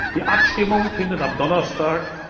Die Abstimmung findet am Donnerstag,